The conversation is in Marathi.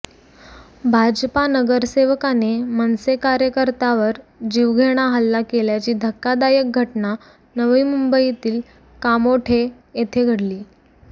भाजपा नगरसेवकाने मनसे कार्यकर्त्यावर जीवघेणा हल्ला केल्याची धक्कादायक घटना नवी मुंबईतील कामोठे येथे घडली